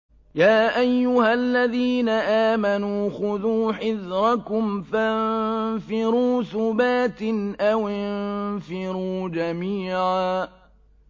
يَا أَيُّهَا الَّذِينَ آمَنُوا خُذُوا حِذْرَكُمْ فَانفِرُوا ثُبَاتٍ أَوِ انفِرُوا جَمِيعًا